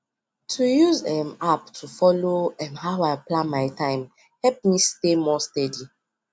to use um app to follow um how i plan my time help me stay more steady